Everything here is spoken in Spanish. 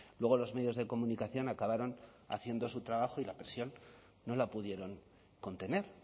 luego los medios de comunicación acabaron haciendo su trabajo y la presión no la pudieron contener